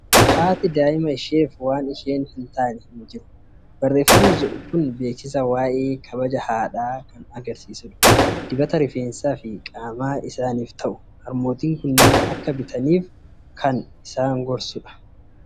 "Haati daa'ima isheef waan isheen hin taane hin jiru" barreeffamni jedhu kun beeksisa waa'ee kabaja haadhaa kan agarsiisudha. Dibata rifeensaa fi qaama isaaniif ta'u, harmootiin kunneen akka bitaniif kan isaan gorsudha.